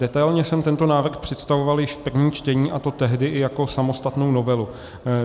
Detailně jsem tento návrh představoval již v prvním čtení, a to tehdy i jako samostatnou novelu.